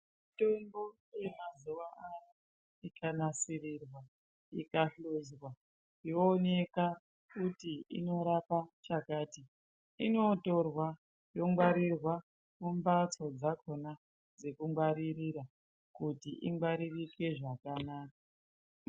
Mitombo yamazuva ano ikanasirirwa ikahluzwa yooneka kuti inorapa chakati. Inotorwa yongwarirwa mumbatso dzakona dzekungwaririra kuti ingwaririke zvakanaka.